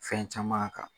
Fɛn caman kan